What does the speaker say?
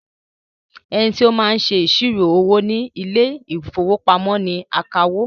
Ẹnití ó máa ń ṣe iṣiro owó ní ile-ìfowópamó ní akawó